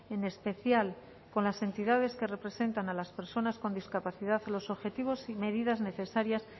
en especial con las entidades que representan a las personas con discapacidad los objetivos y medidas necesarias